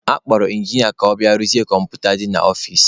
A kpọrọ ịnginịa ka ọ rụzie kọmputa dị n'ọfici.